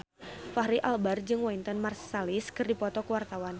Fachri Albar jeung Wynton Marsalis keur dipoto ku wartawan